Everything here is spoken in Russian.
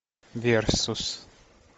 версус